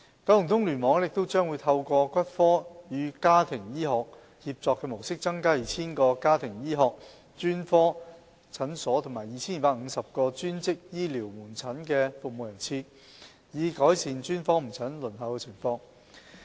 九龍東聯網亦將會透過骨科與家庭醫學協作模式，增加 2,000 個家庭醫學專科診所和 2,250 個專職醫療門診的服務人次，以改善專科門診的輪候情況。